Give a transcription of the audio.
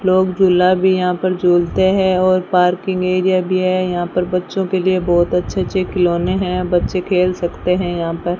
लोग झूला भी यहां पर झुलते हैं और पार्किंग एरिया भी है यहां पर बच्चों के लिए बहोत अच्छे अच्छे खिलौने हैं बच्चे खेल सकते हैं यहां पर।